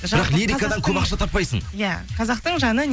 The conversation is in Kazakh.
бірақ лирикадан көп ақша таппайсың иә қазақтың жаны